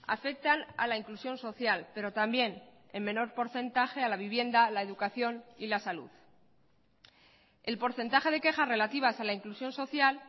afectan a la inclusión social pero también en menor porcentaje a la vivienda la educación y la salud el porcentaje de quejas relativas a la inclusión social